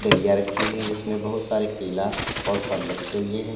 डलिया रखी हुई है जिसमें बहुत सारे केला और फल रखे हुए हैं।